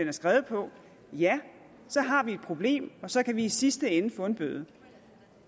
er skrevet på så har vi et problem og så kan vi i sidste ende få en bøde